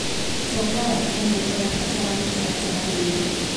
ũtonga wa Kenya ũrabatara mĩtaratara mĩerũ.